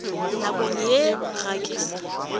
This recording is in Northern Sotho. nakong ye ga ke sa